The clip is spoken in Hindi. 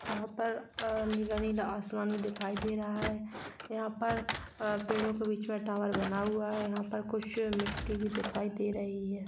यहां पर अ नीला-नीला आसमान भी दिखाई दे रहा है यहां पर अ पेड़ों के बीच में टावर बना हुआ है यहां पर कुछ मिट्टी भी दिखाई दे रही हैं।